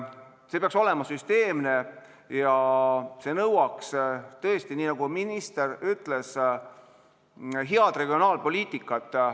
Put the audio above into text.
See peaks olema süsteemne, aga see nõuab tõesti, nii nagu minister ütles, head regionaalpoliitikat.